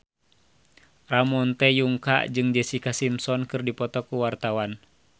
Ramon T. Yungka jeung Jessica Simpson keur dipoto ku wartawan